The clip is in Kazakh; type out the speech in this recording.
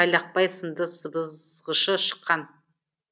тайлақбай сынды сыбызғышы шықкан